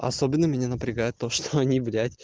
особенно меня напрягает то что они